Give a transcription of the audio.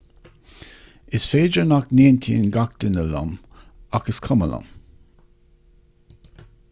is féidir nach n-aontaíonn gach duine liom ach is cuma liom